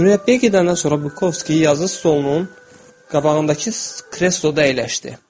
Mürəbbiyə gedəndən sonra Volkovskiy yazı stolunun qabağındakı kresloda əyləşdi.